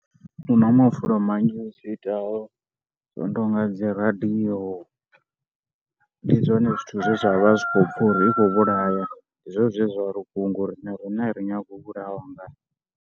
Hu na mafulo manzhi zwi itaho, zwo no tou nga dzi radio, ndi zwone zwithu zwine zwa vha zwi khou pfha uri i khou vhulaya, ndi zwone zwine zwa ri kunga vhukuma nga uri na riṋe ri nyagi u vhulawa ngayo.